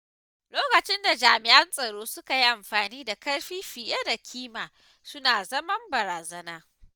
Lokacin da jami'an tsaro suka yi amfani da ƙarfi fiye da kima suna zama barazana.